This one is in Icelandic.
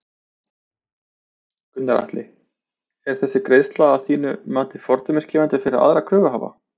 Gunnar Atli: Er þessi greiðsla að þínu mati fordæmisgefandi fyrir aðra kröfuhafa?